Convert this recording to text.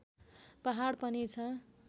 पहाड पनि छ